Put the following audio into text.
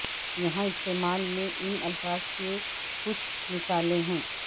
یہاں استعمال میں ان الفاظ کے کچھ مثالیں ہیں